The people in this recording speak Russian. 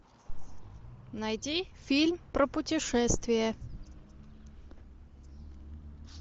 найти фильм про путешествия